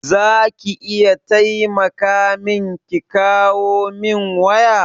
za ki iya taimaka min ki kawo min waya?